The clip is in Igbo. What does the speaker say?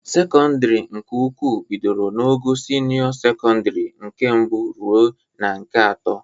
Sekọndịrị nke ukwu bidoro n'ogo sinịọ sekọndịrị nke mbụ ruo na nke atọ.